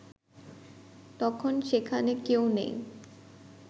তখন সেখানে কেউ নেই